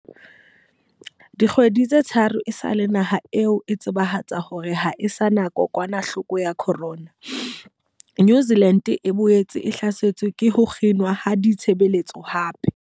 Dikgwedi tse tharo esale naha eo e tsebahatsa hore ha e sa na kokwanahloko ya corona, New Zealand e boetse e hlasetswe ke ho kginwa ha ditshebeletso hape.